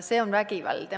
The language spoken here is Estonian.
See on vägivald.